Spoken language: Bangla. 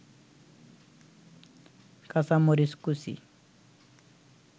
কাঁচামরিচ কুচি